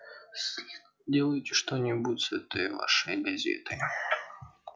сделайте что-нибудь с этой вашей газетой